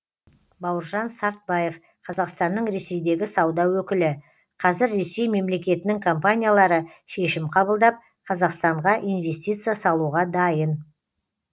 бауыржан сартбаев қазақстанның ресейдегі сауда өкілі қазір ресей мемлекетінің компаниялары шешім қабылдап қазақстанға инвестиция салуға дайын